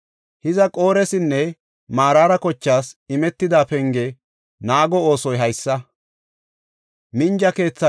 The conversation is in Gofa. Hiza Qoresinne Maraara kochaas imetida penge naago oosoy haysa.